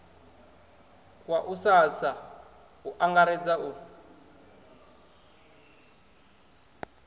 wa ussasa u angaredza u